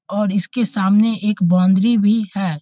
और इसके सामने एक बाउंड्री भी है।